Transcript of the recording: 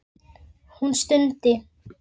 Hún stundi.